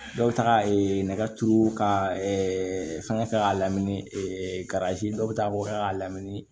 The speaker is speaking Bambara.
Dɔw ta nɛgɛturu ka fɛngɛ k'a lamini karazi dɔw bɛ taa k'o kɛ k'a lamini